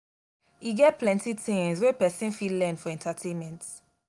e get plenty tins wey pesin fit learn for entertainment.